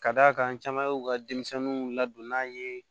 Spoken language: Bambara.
Ka d'a kan caman ye u ka denmisɛnninw ladonn'an ye